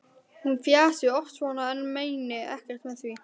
Hún fjasi oft svona en meini ekkert með því.